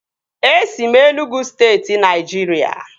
E si m Enugwu steeti Naijiria